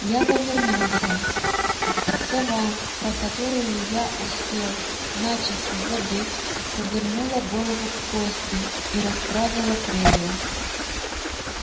я повернулся сова про которую я успел начисто забыть повернула голову к косте и расправила крылья